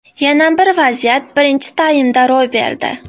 Yana bir vaziyat birinchi taymda ro‘y berdi.